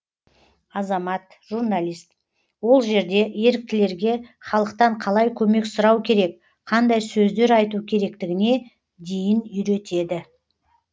азамат журналист ол жерде еріктілерге халықтан қалай көмек сұрау керек қандай сөздер айту керектігіне дейін үйретеді